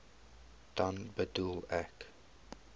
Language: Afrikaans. dan bedoel ek